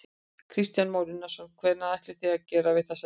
Kristján Már Unnarsson: Hvað ætlið þið að gera við þessar vélar?